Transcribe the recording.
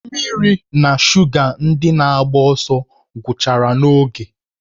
Mmiri na shuga ndị na-agba ọsọ gwụchara n'oge